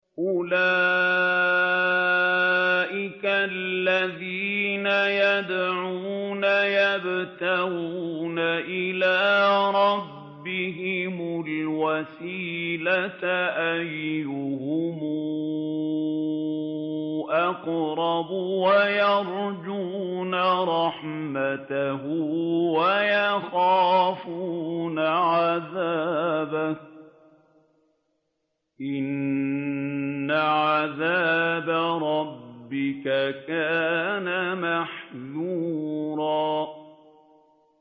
أُولَٰئِكَ الَّذِينَ يَدْعُونَ يَبْتَغُونَ إِلَىٰ رَبِّهِمُ الْوَسِيلَةَ أَيُّهُمْ أَقْرَبُ وَيَرْجُونَ رَحْمَتَهُ وَيَخَافُونَ عَذَابَهُ ۚ إِنَّ عَذَابَ رَبِّكَ كَانَ مَحْذُورًا